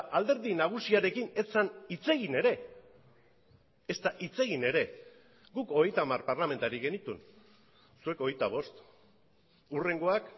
alderdi nagusiarekin ez zen hitz egin ere ezta hitz egin ere guk hogeita hamar parlamentari genituen zuek hogeita bost hurrengoak